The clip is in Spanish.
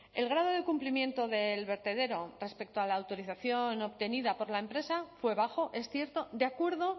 el grado de cumplimiento del vertedero respecto a la autorización obtenida por la empresa fue bajo es cierto de acuerdo